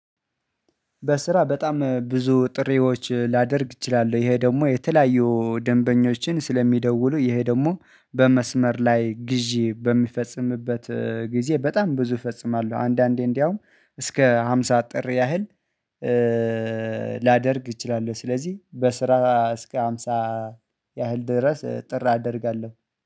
በስራ በጣም ብዙ ጥሪዎች ላደርግ እችላለሁ ይሄ ደግሞ የተለያዩ ደንበኞችን ስለሚደውሉ ይሄ ደግሞ በመስመር ላይ ግዢ በሚፈጽምበት ጊዜ በጣም ብዙ እፈጽማለሁ አንዳንዴ እንደውም እስከ ሃምሳ ጥሪ ያህል ላደርግ እችላለሁ። ስለዚህ በስራ እስከ ሃምሳ ያህል ድረስ ጥር አደርጋለሁ